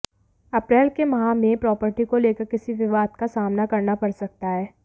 अप्रैल के माह में प्रॉपर्टी को लेकर किसी विवाद का सामना करना पड़ सकता है